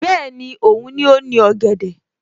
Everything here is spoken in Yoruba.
Bẹ́ẹ̀ni, Òun ni ó ní ọ̀gẹ̀dẹ̀